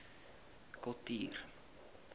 kultuur